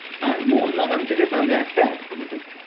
হাঁ মোহন বাগান থেকে তাহলে একটা এড add করে দিন